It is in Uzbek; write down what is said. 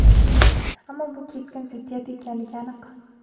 ammo bu keskin ziddiyat ekanligi aniq.